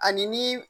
Ani ni